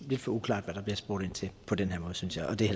lidt for uklart hvad der bliver spurgt ind til på den her måde synes jeg og det er